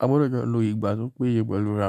a gbọdọ̀ jọ lọ ìgbà tó péye pẹ̀lú ara wa.